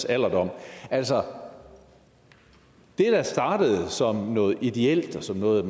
alderdommen altså det der startede som noget ideelt og som noget